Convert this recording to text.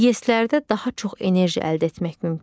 İES-lərdə daha çox enerji əldə etmək mümkündür.